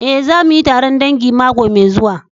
Eh, za mu yi taron dangi mako mai zuwa.